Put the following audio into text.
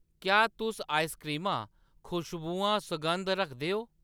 क्या तुस आइसक्रीमां ,खुश्बुआं, सगंध रखदे ओ ?